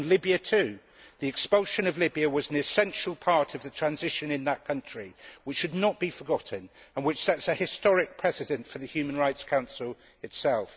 On Libya too the expulsion of Libya was an essential part of the transition in that country which should not be forgotten and which sets a historic precedent for the Human Rights Council itself.